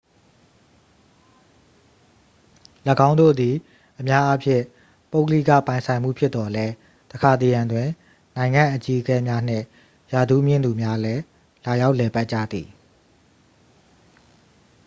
"""၎င်းတို့သည် အများအားဖြင့် ပုဂ္ဂလိကပိုင်ဆိုင်မှု ဖြစ်သော်လည်း တစ်ခါတစ်ရံတွင် နိုင်ငံ့အကြီးအကဲများနှင့် ရာထူးမြင့်သူများလည်း လာရောက်လည်ပတ်ကြသည်။""